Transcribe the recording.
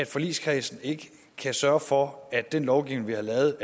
forligskredsen kan sørge for at den lovgivning vi har lavet